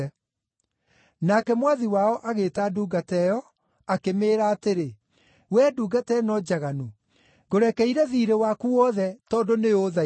“Nake mwathi wao agĩĩta ndungata ĩyo, akĩmĩĩra atĩrĩ, ‘Wee ndungata ĩno njaganu, ngũrekeire thiirĩ waku wothe tondũ nĩũũthaithire.